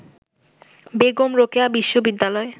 বেগম রোকেয়া বিশ্ববিদ্যালয়